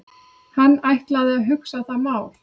Hann ætlaði að hugsa það mál.